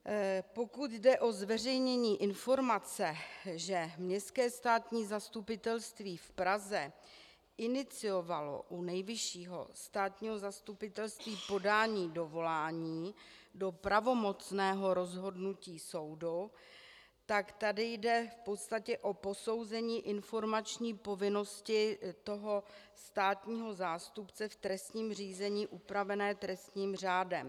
Pokud jde o zveřejnění informace, že Městské státní zastupitelství v Praze iniciovalo u Nejvyššího státního zastupitelství podání dovolání do pravomocného rozhodnutí soudu, tak tady jde v podstatě o posouzení informační povinnosti toho státního zástupce v trestním řízení upravené trestním řádem.